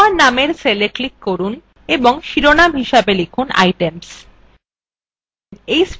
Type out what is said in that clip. b1 নামের cellএ click করুন এবং শিরোনাম হিসাবে লিখুনitems